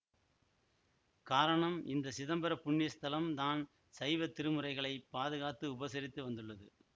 காரணம் இந்த சிதம்பர புண்ணிஸ்தலம் தான் சைவத் திருமுறைகளைப் பாதுகாத்து உபசரித்து வந்துள்ளது